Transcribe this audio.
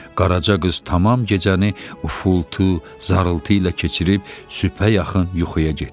Qaraca qız tamam gecəni ufultu, zarıltı ilə keçirib sübhə yaxın yuxuya getdi.